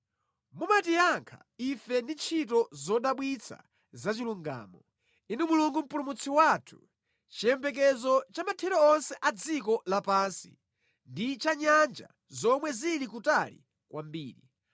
Mumatiyankha ife ndi ntchito zodabwitsa zachilungamo, Inu Mulungu Mpulumutsi wathu, chiyembekezo cha mathero onse a dziko lapansi ndi cha nyanja zomwe zili kutali kwambiri,